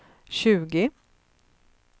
tjugo